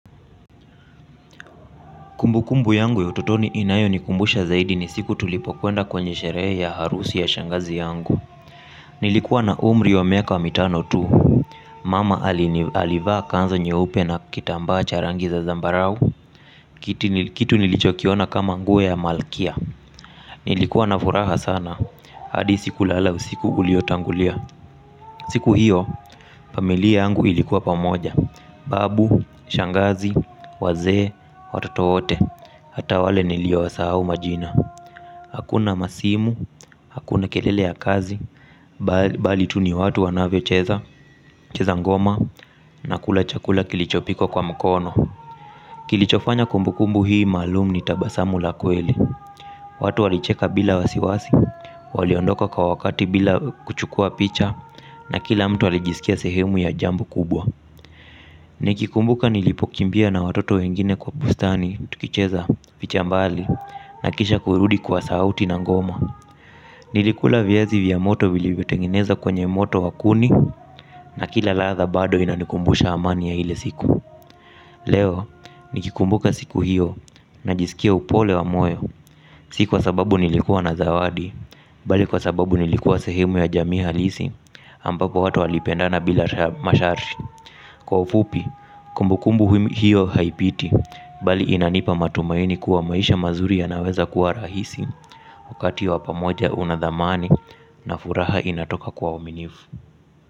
Kumbu kumbu yangu ya utotoni inayo nikumbusha zaidi ni siku tulipo kwenda kwenye sherehe ya harusi ya shangazi yangu. Nilikuwa na umri wa meaka wa mitano tu. Mama alini alivaa kanzu nye upe na kitambaa cha rangi za zambarau. Kitu nilichokiona kama nguo ya malkia. Nilikuwa na furaha sana. Hadi siku lala usiku uliotangulia. Siku hiyo, pamilia yangu ilikuwa pamoja. Babu, shangazi, wazee, watoto wote. Hata wale nilio wa sahau majina. Hakuna masimu, hakuna kelele ya kazi. Bali tu ni watu wanavyo cheza, cheza ngoma. Na kula chakula kilicho pikwa kwa mkono. Kilichofanya kumbu kumbu hii maalum ni tabasamu lakweli watu walicheka bila wasiwasi. Waliondoka kwa wakati bila kuchukua picha. Na kila mtu alijisikia sehemu ya jambo kubwa. Niki kumbuka nilipokimbia na watoto wengine kwa bustani tukicheza vichambali na kisha kurudi kwa sauti na ngoma. Nilikula viazi vya moto vilivyotengeneza kwenye moto wakuni. Na kila ladha bado inanikumbusha amani ya ile siku leo nikikumbuka siku hiyo najiskia upole wa moyo. Si kwa sababu nilikuwa na zawadi bali kwa sababu nilikuwa sehemu ya jamii ha lisi ampapo watu walipendana bila mashar. Kwa ufupi kumbukumbu hiyo haipiti bali inanipa matumaini kuwa maisha mazuri ya naweza kuwa rahisi wakati wapamoja unadhamani na furaha inatoka kwawaminifu.